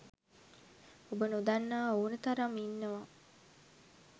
ඔබ නොදන්නා ඕන තරම් ඉන්නවා